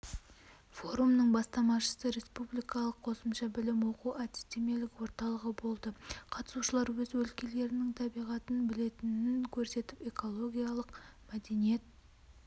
форумның бастамашысы республикалық қосымша білім оқу-әдістемелік орталығы болды қатысушылар өз өлкелерінің табиғатын білетінін көрсетіп экологиялық мәдениет